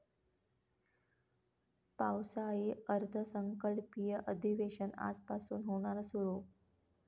पावसाळी अर्थसंकल्पीय अधिवेशन आजपासून होणार सुरु